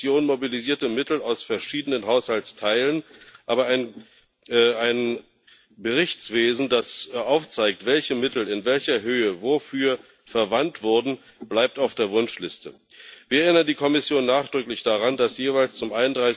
Die Kommission mobilisierte Mittel aus verschiedenen Haushaltsteilen, aber ein Berichtswesen, das aufzeigt, welche Mittel in welcher Höhe wofür verwandt wurden, bleibt auf der Wunschliste. Wir erinnern die Kommission nachdrücklich daran, dass jeweils zum